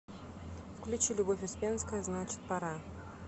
включи любовь успенская значит пора